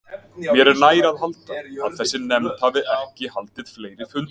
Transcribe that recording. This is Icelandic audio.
Mér er nær að halda, að þessi nefnd hafi ekki haldið fleiri fundi.